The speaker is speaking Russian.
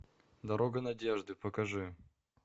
дорога надежды покажи